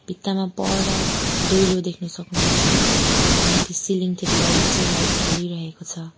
भित्तामा पर दैलो देख्न सक्नुहुन्छ अनि माथि सिलिङ तिर लाइट से लाइट बलिरहेको छ।